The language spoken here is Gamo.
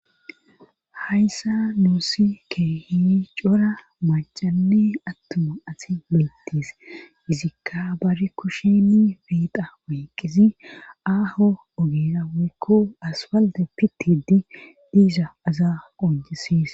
hayssa nuusi keehi cora macani attuma asi meyittis izikka bari kushini biiqa woyqqisi aaho ogira woykko aswalde pitidi diiza asa qoncisses